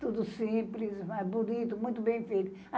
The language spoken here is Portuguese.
Tudo simples, mas bonito, muito bem feito.